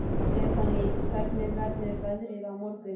Stefánný, hvernig verður veðrið á morgun?